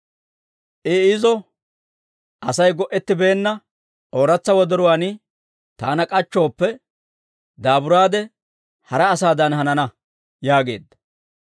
I izo, «Asay go'ettibeenna ooratsa wodoruwaan taana k'achchooppe, daaburaade, hara asaadan hanana» yaageedda.